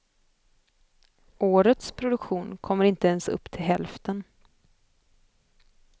Årets produktion kommer inte ens upp till hälften.